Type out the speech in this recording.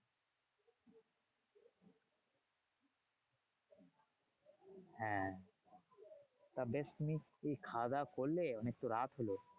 হ্যাঁ তা বেশ তুমি কি খাওয়াদাওয়া করলে? অনেক তো রাত হলো।